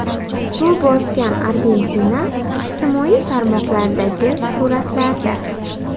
Suv bosgan Argentina ijtimoiy tarmoqlardagi suratlarda .